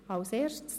Zum Themenblock